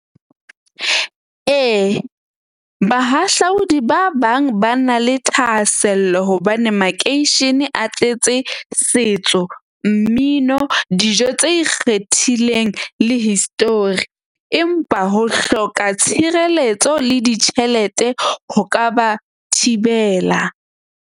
Ee, bahahlaudi ba bang ba na le thahasello hobane makeishene a tletse setso, mmino, dijo tse ikgethileng le histori. Empa ho hloka tshireletso le ditjhelete ho ka ba thibela.